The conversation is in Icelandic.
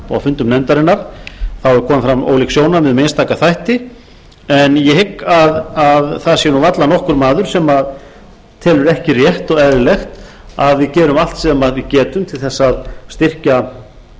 það hafi komið fram ólík sjónarmið um einstaka þætti en ég hygg að það sé varla nokkur maður sem telur ekki rétt og eðlilegt að við gerum allt sem við getum til þess að